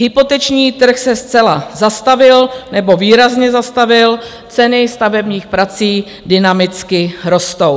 Hypoteční trh se zcela zastavil nebo výrazně zastavil, ceny stavebních prací dynamicky rostou.